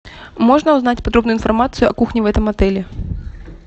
можно узнать подробную информацию о кухне в этом отеле